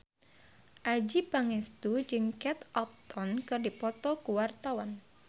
Adjie Pangestu jeung Kate Upton keur dipoto ku wartawan